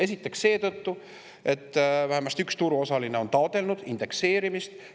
Esiteks, vähemasti üks turuosaline on taotlenud indekseerimist.